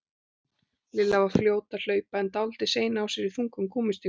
Lilla var fljót að hlaupa en dálítið sein á sér í þungum gúmmístígvélunum.